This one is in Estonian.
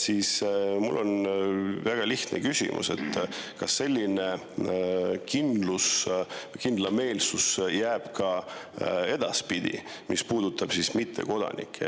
Mul on seetõttu väga lihtne küsimus: kas selline kindlus, kindlameelsus, mis puudutab mittekodanikke, jääb ka edaspidi püsima?